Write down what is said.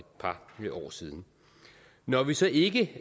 par år siden når vi så ikke